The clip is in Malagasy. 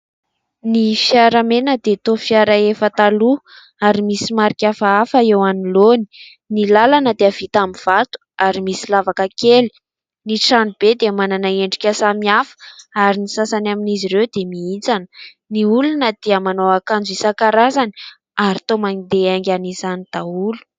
Ny fiara mena dia toa fiara efa taloha ary misy marika hafahafa eo anoloany. Ny lalana dia vita amin'ny vato ary misy lavaka kely. Ny tranobe dia manana endrika samihafa ary ny sasany amin'izy ireo dia mihintsana. Ny olona dia manao akanjo isan-karazany ary toa mandeha haingana izany daholo.